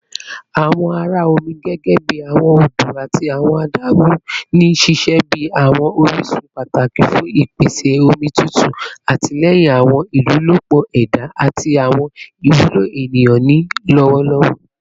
Awọn ara omi gẹgẹbi awọn odo ati awọn adagun n ṣiṣẹ bi awọn orisun pataki fun ipese omi tutu, atilẹyin awọn ilolupo eda ati awọn iwulo eniyan ni lọwọlọwọ